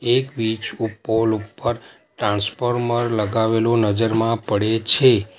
એક વીજ પોલ ઉપ્પર ટ્રાન્સફોર્મર લગાવેલુ નજરમાં પડે છે.